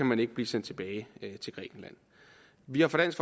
man ikke blive sendt tilbage til grækenland vi har fra dansk